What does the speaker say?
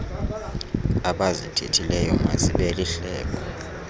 abazithethileyo mazibe lihlebo